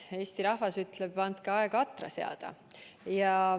Eesti rahvas ütleb, et andke aega atra seada.